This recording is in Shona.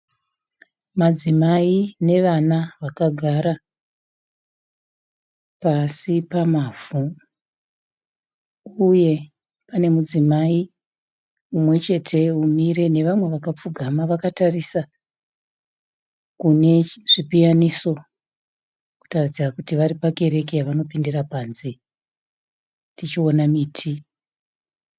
Madzimai nevana vakagara pasi pamavhu uye pane mudzimai mumwechete umire nevamwe vakapfugama vakatarisa kune zvipiyaniso kutaridza kuti vari pakereke yavanopindira panze, tichiona miti.